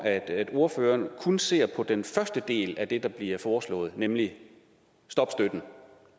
ordføreren kun ser på den første del af det der bliver foreslået nemlig det om